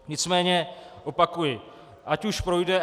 Nicméně opakuji, ať už projde.